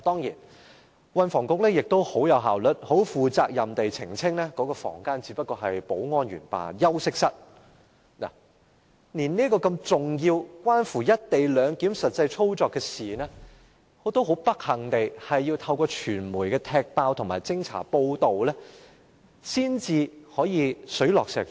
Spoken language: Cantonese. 就此，運輸及房屋局亦很有效率，很負責任地澄清，指出該房間只是保安員休息室，但對於這個如此重要，關乎"一地兩檢"實際操作的事情，卻很不幸地，我們是要透過傳媒揭發及偵查報道，才可以水落石出。